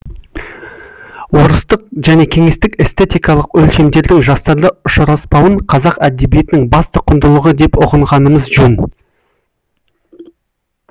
орыстық және кеңестік эстетикалық өлшемдердің жастарда ұшыраспауын қазақ әдебиетінің басты құндылығы деп ұғынғанымыз жөн